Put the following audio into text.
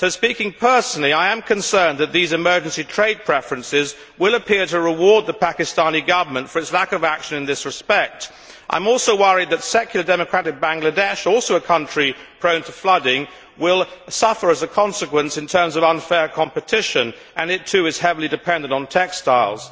So, speaking personally, I am concerned that these emergency trade preferences will appear to reward the Pakistani Government for its lack of action in this respect. I am also worried that secular, democratic Bangladesh, also a country prone to flooding, will suffer as a consequence in terms of unfair competition, and it, too, is heavily dependent on textiles.